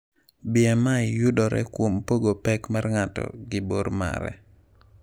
BMI yudore kuom pogo pek mar ng’ato gi bor mare.